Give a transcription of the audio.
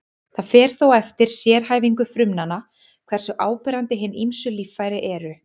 Það fer þó eftir sérhæfingu frumnanna hversu áberandi hin ýmsu líffæri eru.